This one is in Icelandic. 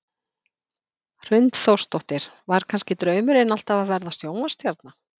Hrund Þórsdóttir: Var kannski draumurinn alltaf að verða sjónvarpsstjarna?